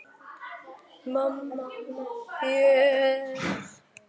Mamma með þér.